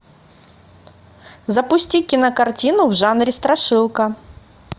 запусти кинокартину в жанре страшилка